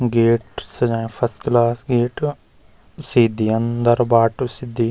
गेट सजायुं first class gate सीधी अन्दर बाटु सिद्धि।